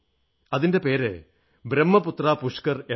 അതിന്റെ പേര് ബ്രഹ്മപുത്ര പുഷ്കർ എന്നാണ്